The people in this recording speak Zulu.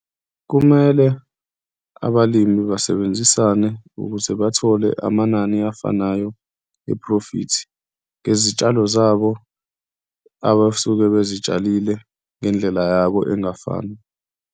Kumele abalimi basebenzisane ukuze bathole amanani afanayo ephrofithi ngezitshalo zabo abasuke bezitshalile ngendlela yabo engafani.